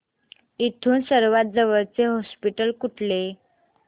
इथून सर्वांत जवळचे हॉस्पिटल कुठले